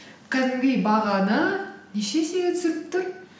кәдімгідей бағаны неше есеге түсіріп тұр